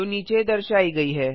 जो नीचे दर्शायी गई है